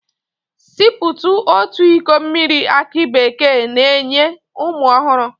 Siputu otu iko mmiri aki bekee na-enye ume ọhụrụ